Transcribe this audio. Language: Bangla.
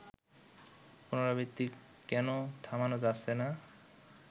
পুনরাবৃত্তি কেন থামানো যাচ্ছে না